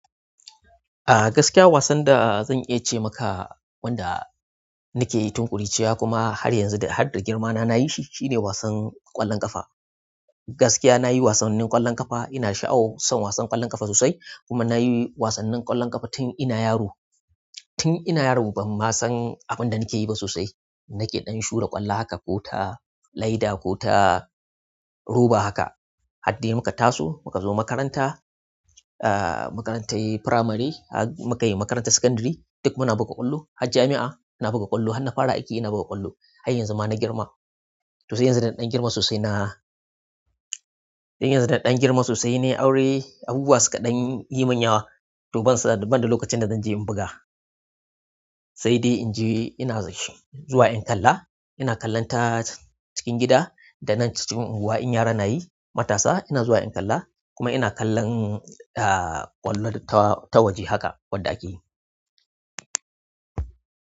A gaskiya wasan da zan iya ce maka wanda nakeyi tun ƙuruciya kuma har yanzu da hadda girmana nayi shi shine wasan ƙwallon ƙafa. Gaskiya nayi wasannin ƙwallon ƙafa, ina sha'awa son wasan ƙwallon ƙafa sosai kuma nayi wasannin ƙwallon ƙafa tun ina yaro. Tun ina yaro ban ma san abin da nake yi ba sosai. Nake ɗan shura ƙwallo haka ko ta laida ko ta roba haka. Haddai muka taso, muka zo makaranta, a'a makarantar firamare, har mukai makarantar sakandare duk muna buga ƙwallo. Har jami'a ina buga ƙwallo, har na fara aiki ina buga ƙwallo. Har yanzu da na girma. Tosai yanzu da na ɗan girma sosai na-- yanzu da na ɗan girma sosai nai aure, abubuwa suka ɗan yi munyawa, to bansan banda lokacin da zan je in buga. Sai dai in je ina zuwa in kalla, ina kallonta cikin gida da na cikin unguwa in yara nayi matasa ina zuwa in kalla kuma ina kallon ƙwallon tawaje haka wadda akeyi.